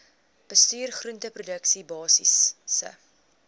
bestuur groenteproduksie basiese